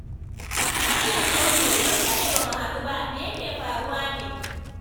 Malam Audu, mun dade ba mu hadu ba, me ya ke faruwa ne?